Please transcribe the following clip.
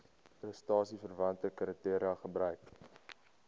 prestasieverwante kriteria gebruik